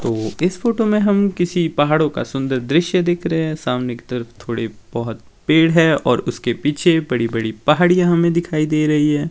तो इस फोटो में हम किसी पहाड़ों का सुंदर दृश्य दिख रहे हैं सामने की तरफ थोड़े बहोत पेड़ है और उसके पीछे बड़ी बड़ी पहाड़ियां हमें दिखाई दे रही है।